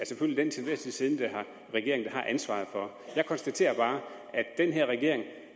selvfølgelig den til enhver tid siddende regering der har ansvaret for jeg konstaterer bare